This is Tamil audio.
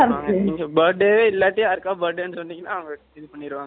, நீங்க birthday , இல்லாட்டி, யாருக்கா birthday ன்னு சொன்னீங்கன்னா, அவங்க, இது பண்ணிடுவாங்க